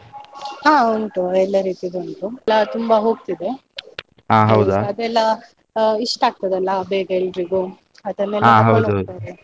ಹಾ ಉಂಟು ಎಲ್ಲಾ ರೀತಿದ್ದು ಉಂಟು. ಎಲ್ಲಾ ತುಂಬಾ ಹೋಗ್ತಿದೆ, ಇಷ್ಟ ಆಗ್ತದಲ್ಲ ಬೇಗ ಎಲ್ರಿಗೂ ಅದನ್ನೆಲ್ಲಾ ತಕೊಂಡು ಹೋಗ್ತಾರೆ.